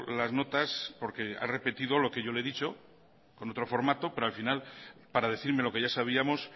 las notas porque ha repetido lo que yo le he dicho con otro formato pero al final para decirme lo que ya sabíamos